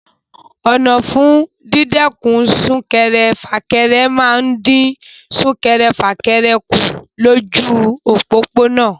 Ọ̀nà fún dídẹ́kun sún-kẹrẹ-fà-kẹrẹ máa ń dín sún-kẹrẹ-fà-kẹrẹ kù lójú òpópónà.